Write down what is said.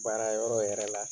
Baara yɔrɔ yɛrɛ la